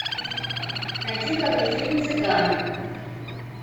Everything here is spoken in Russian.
найди ка мне фильм цыган